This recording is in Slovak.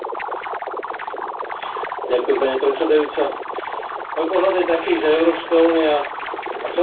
Pani predsedajúca, môj pohľad je taký, že Európska únia a celá Európa čelí demografickej zime.